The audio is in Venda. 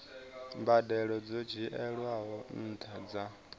mbadelo dzo dzhielwaho nṱha dza